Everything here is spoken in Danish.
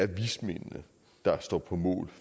vismændene der står på mål